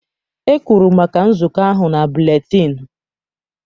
E kwuru maka nzukọ ahụ na buletịịnụ.